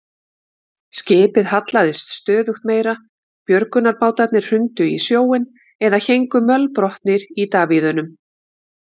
Skipið hallaðist stöðugt meira, björgunarbátarnir hrundu í sjóinn eða héngu mölbrotnir í davíðunum.